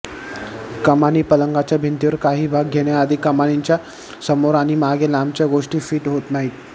कमानी पलंगाच्या भिंतीवर काही भाग घेण्याआधी कमानीच्या समोर आणि मागे लांबच्या गोष्टी फिट होत नाहीत